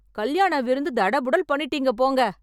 கல்யாண விருந்து தடபுடல் பண்ணிட்டீங்க போங்க!